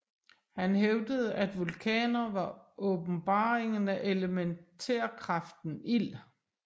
Han hævdede at vulkaner var åbenbaringen af elementærkraften ild